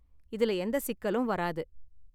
இதுல எந்த சிக்கலும் வராது.